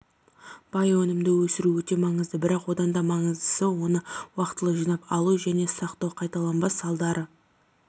бай өнімді өсіру өте маңызды бірақ оданда маңыздысы оны уақытылы жинап алу және сақтау қайталанбас салдарды